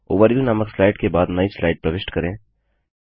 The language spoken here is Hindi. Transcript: ओवरव्यू नामक स्लाइड के बाद नई स्लाइड प्रविष्ट करें